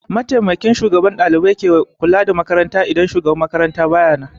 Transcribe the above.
Mataimakiyar Shugabar ɗalibai ke kula da makaranta in Shugabar makaranta bata nan